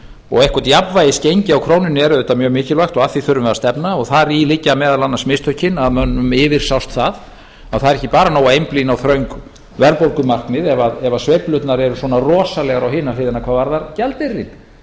og eitthvert jafnvægisgengi á krónunni er auðvitað mjög mikilvægt og að því þurfum við að stefna og þar í liggja meðal annars mistökin að mönnum yfirsást það það er ekki nóg að einblína á þröng verðbólgumarkmið ef sveiflurnar eru svona rosalegar á hina hliðina hvað varðar gjaldeyrinn